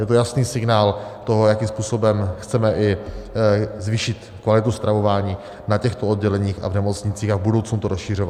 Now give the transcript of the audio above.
Je to jasný signál toho, jakým způsobem chceme i zvýšit kvalitu stravování na těchto odděleních a v nemocnicích a v budoucnu to rozšiřovat.